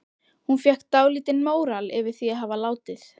Hún fékk dálítinn móral yfir því að hafa látið